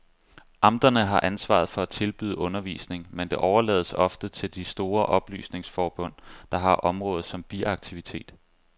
Amterne har ansvaret for at tilbyde undervisning, men det overlades ofte til de store oplysningsforbund, der har området som biaktivitet.